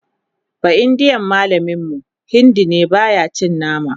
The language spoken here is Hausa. baindiyan mallamin mu Hindi ne baya cin nama